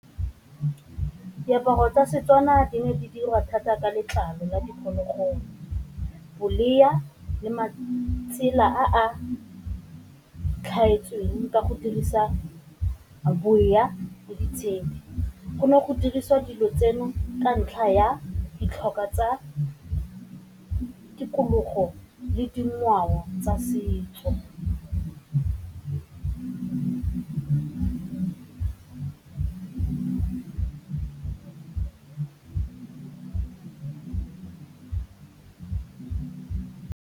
Diaparo tsa Setswana di ne di diriwa thata ka letlalo la diphologolo, le matsela a tlhaetseng ka go dirisa . Go ne go dirisiwa dilo tseno ka ntlha ya ditlhokwa tsa tikologo le dingwao tsa setso.